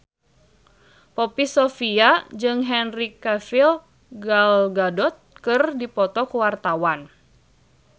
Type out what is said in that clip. Poppy Sovia jeung Henry Cavill Gal Gadot keur dipoto ku wartawan